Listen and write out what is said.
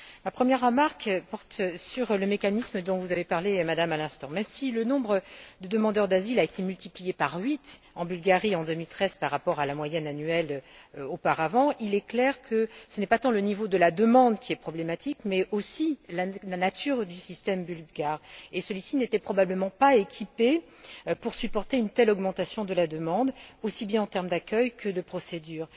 Ma première remarque porte sur le mécanisme dont vous avez parlé à l'instant, Madame. Même si le nombre de demandeurs d'asile a été multiplié par huit, en Bulgarie, en 2013, par rapport à la moyenne annuelle auparavant, il est clair que ce n'est pas tant le niveau de la demande qui est problématique mais aussi la nature du système bulgare. Celui ci n'était probablement pas équipé pour supporter une telle augmentation de la demande aussi bien en termes d'accueil que de procédures.